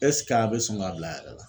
a be sɔn ka bila a yɛrɛ wa?